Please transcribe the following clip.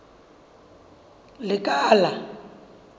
lekala